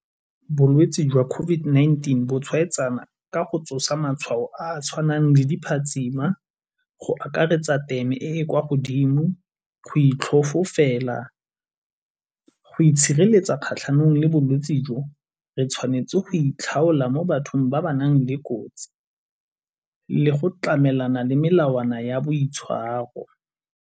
Bolwetsi jwa COVID-19 bo tshwaetsana ka go tsosa matshwao a a tshwanang le di phatsima, go akaretsa teme e e kwa godimo, go itlhofofela. Go itshireletsa kgatlhanong le bolwetsi jo re tshwanetse go itlhaola mo bathong ba ba nang le kotsi le go tlamelana le melawana ya boitshwaro.